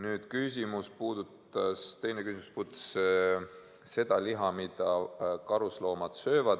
Teine küsimus puudutas liha, mida karusloomad söövad.